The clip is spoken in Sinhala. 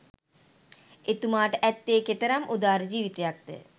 එතුමාට ඈත්තෙ කෙතෙරම් උදාර ජීවිතයක්ද